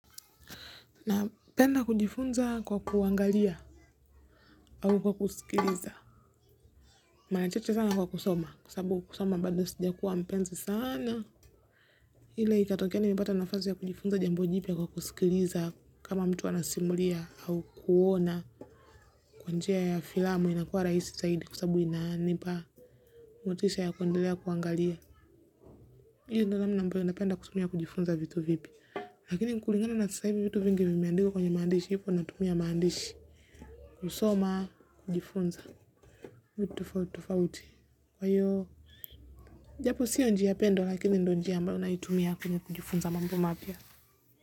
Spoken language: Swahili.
Napenda kujifunza kwa kuangalia au kwa kusikiliza maana chache sana kwa kusoma kwa sababu kusoma bado sijakuwa mpenzi sana ile ikatokea nimepata nafasi ya kujifunza jambo jipya kwa kusikiliza kama mtu anasimulia au kuona kwa njia ya filamu inakuwa rahisi zaidi kwa sababu inanipa motisha ya kuendelea kuangalia hii ndo namna ambayo napenda kutumia kujifunza vitu vipya lakini kulingana na sasa hivi vitu vingi vimeandikwa kwenye maandishi hivyo natumia maandishi kusoma kujifunza vitu tofauti tofauti kwa hiyo japo sio njia pendwa lakini ndo njia ambayo naitumia kwenye kujifunza mambo mapya.